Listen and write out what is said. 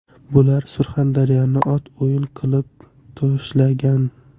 Bular Surxondaryoni ot o‘yin qilib tashlagan.